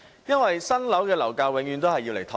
因為新樓的樓價永遠用來"托市"。